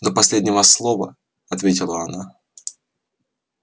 до последнего слова ответила она